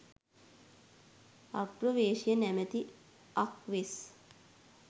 අග්‍රවේශය නමැති අක් වෙස්